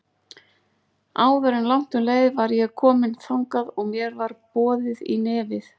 Áður en langt um leið var ég komin þangað og mér var boðið í nefið.